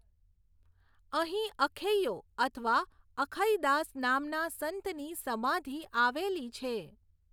અહીં અખૈયો અથવા અખઈદાસ નામના સંતની સમાધિ આવેલી છે.